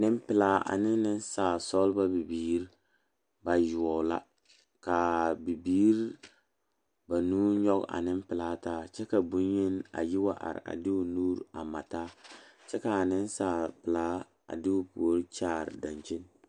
Nempelaa ane nensaalesɔglɔ ba bibirii bayoɔbo la ka a biiri banuu nyɔge a nempelaa taa kyɛ ka boŋyeni a yi wa are a de o nuuri a mare taa kyɛ ka a nensaalpelaa a de o puori kyaare a dankyini?